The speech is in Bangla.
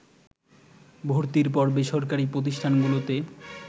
ভর্তির পর বেসরকারি প্রতিষ্ঠানগুলোতে